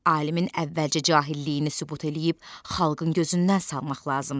Alimin əvvəlcə cahilliyini sübut eləyib xalqın gözündən salmaq lazımdır.